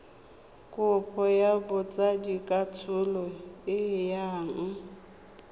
kopo ya botsadikatsholo e yang